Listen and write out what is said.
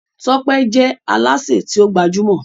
Tọ́pẹ́ je Alásè ti o gbajúmò.